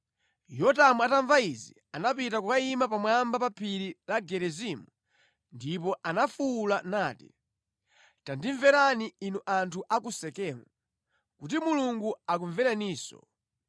Yotamu atamva izi anapita kukayima pamwamba pa phiri la Gerizimu ndipo anafuwula nati, “Tandimverani inu anthu a ku Sekemu, kuti Mulungu akumvereninso.